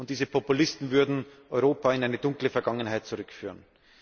Diese Populisten würden Europa in eine dunkle Vergangenheit zurückführen.